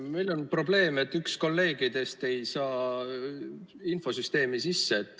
Meil on probleem, et üks kolleegidest ei saa infosüsteemi sisse.